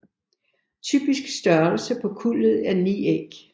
Typisk størrelse på kuldet er 9 æg